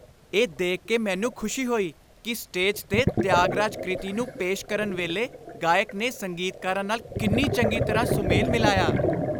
ਇਹ ਦੇਖ ਕੇ ਮੈਨੂੰ ਖੁਸ਼ੀ ਹੋਈ ਕਿ ਸਟੇਜ 'ਤੇ ਤਿਆਗਰਾਜ ਕ੍ਰਿਤੀ ਨੂੰ ਪੇਸ਼ ਕਰਨ ਵੇਲੇ ਗਾਇਕ ਨੇ ਸੰਗੀਤਕਾਰਾਂ ਨਾਲ ਕਿੰਨੀ ਚੰਗੀ ਤਰ੍ਹਾਂ ਸੁਮੇਲ ਮਿਲਾਇਆ।